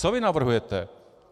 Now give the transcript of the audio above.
Co vy navrhujete?